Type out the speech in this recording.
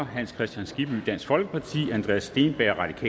hans kristian skibby andreas steenberg